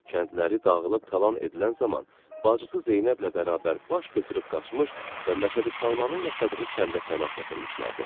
Kəndləri dağılıb talan edilən zaman bacısı Zeynəblə bərabər baş götürüb qaçmış və Məşədi Salmanın yaşadığı kəndə pənah gətirmişdilər.